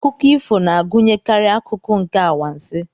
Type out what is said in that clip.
Akụkọ ifo na-agụnyekarị akụkụ nke anwansi.